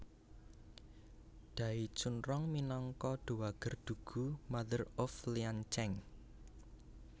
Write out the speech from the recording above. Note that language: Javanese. Dai Chunrong minangka Dowager Dugu Mother of Liancheng